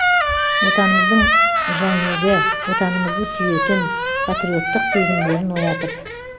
отанымыздың жәңегі отанымызды сүйетін патриоттық сезімдерін оятып